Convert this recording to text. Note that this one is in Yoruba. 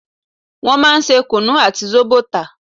Wọn máa ń ṣe kunu àti zobo tà